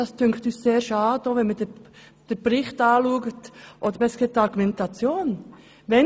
Wir finden es sehr schade, wenn man die Argumentation anschaut.